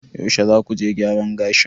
yaushe za ku je gyaran gashin?